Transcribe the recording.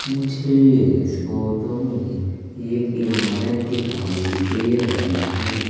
मुझे इस फोटो में एक इमारत दिखाई दे रही है।